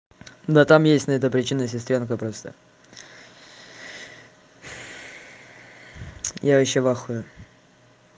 да там есть на это причины сестрёнка просто я вообще в ахуе